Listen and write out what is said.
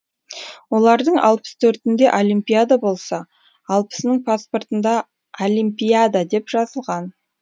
олардың алпыс төртінде олимпиада болса алпысының паспортында алимпиада деп жазылған